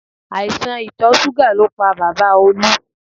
Àìsàn ìtọ̀ súgà ló pa bàbá Olú